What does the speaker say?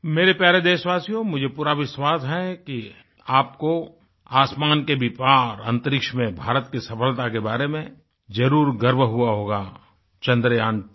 मेरे प्यारे देशवासियोमुझे पूरा विश्वास है कि आपको आसमान के भी पार अंतरिक्ष में भारत की सफलता के बारे में जरुर गर्व हुआ होगा चन्द्रयांत्वो